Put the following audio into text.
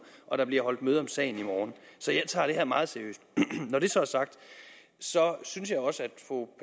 og der bliver holdt møde om sagen i morgen så jeg tager det her meget seriøst når det så er sagt synes jeg også